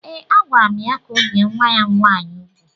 Ee, agwara m ya ka o bie nwa ya nwaanyị úgwù